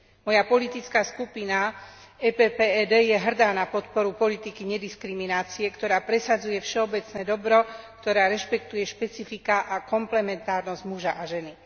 Moja politická skupina PPE DE je hrdá na podporu politiky nediskriminácie, ktorá presadzuje všeobecné dobro, ktorá rešpektuje špecifiká a komplementárnosť muža a ženy.